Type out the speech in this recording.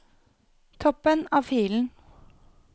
Toppen av filen